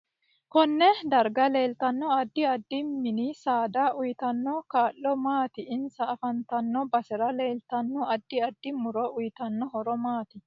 Konne darga leeltanno addi addi mini saada uyiitanno kaa'lo maati insa afantanno basera leeltanno addi addi muro uyiitanno horo maati